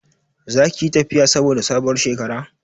Za ki yi tafiya saboda sabuwar shekara?